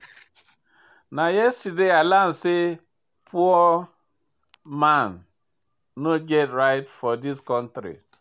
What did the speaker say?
Na yesterday I learn sey poor man no get right for dis country.